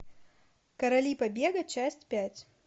короли побега часть пять